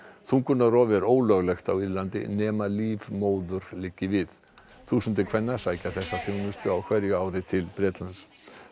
þungunarrof er ólöglegt á Írlandi nema líf móður liggi við þúsundir kvenna sækja þessa þjónustu á hverju ári til Bretlands